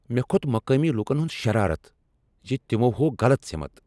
مےٚ كھو٘ت مقامی لوكن ہٗند شرارت زِ تمو ہوو غلط سِمت۔